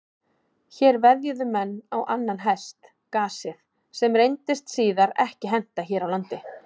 Hér veðjuðu menn á annan hest, gasið, sem reyndist síðar ekki henta hér á landi.